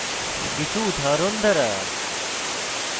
কিছু উদাহরণ দ্বারা